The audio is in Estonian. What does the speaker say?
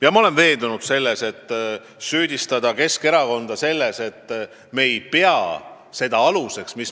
Ja ma olen veendunud, et ei saa Keskerakonda süüdistada selles, et me ei lähtu õiguslikust järjepidevusest.